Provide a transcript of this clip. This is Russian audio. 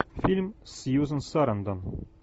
фильм с сьюзен сарандон